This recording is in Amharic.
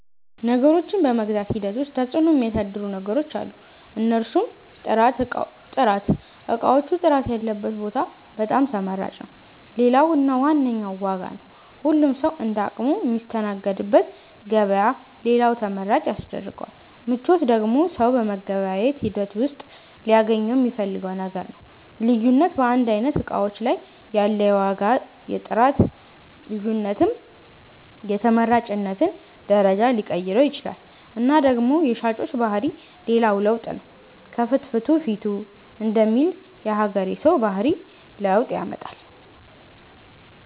ነገሮችን በመግዛት ሂደት ዉስጥ ተፅዕኖ ሚያሣድሩ ነገሮች አሉ። እነርሡም፦ ጥራት እቃዎቹ ጥራት ያለበት ቦታ በጣም ተመራጭ ይሆናል። ሌላው እና ዋነኛው ዋጋ ነው ሁሉም ሠዉ እንደ አቅሙ ሚስተናገድበት ገበያ ሌላው ተመራጭ ያስደርገዋል። ምቾት ደግሞ ሠው በመገበያየት ሂደት ውሥጥ ሊያገኘው ሚፈልገው ነገር ነው። ልዩነት በአንድ አይነት እቃዎች ላይ ያለ የዋጋ የጥራት ልዮነትም የተመራጭነትን ደረጃ ሊቀይረው ይችላል እና ደግሞ የሻጮች ባህሪ ሌላው ለውጥ ነው ከፍትፊቱ ፊቱ ደሚል የሀገሬ ሠው ባህሪ ለውጥ ያመጣል።